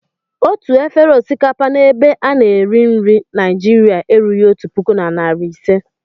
Otu efere osikapa n'ebe a na-eri nri Naịjiria erughị otu puku na narị ise.